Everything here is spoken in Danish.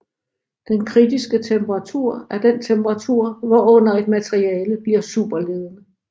Den kritiske temperatur er den temperatur hvorunder et materiale bliver superledende